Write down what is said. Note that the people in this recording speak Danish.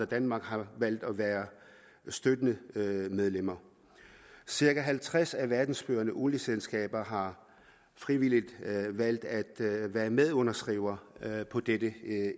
danmark har valgt at være støttende medlemmer cirka halvtreds af verdens førende olieselskaber har frivilligt valgt at være medunderskrivere på dette